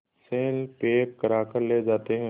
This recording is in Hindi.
से पैक कराकर ले जाते हैं